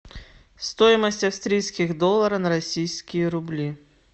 стоимость австрийских долларов на российские рубли